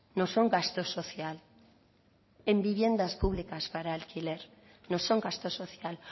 no son gasto social en vivienda públicas para alquiler no son gasto social